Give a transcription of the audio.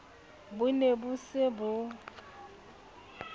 bo ne bo se bo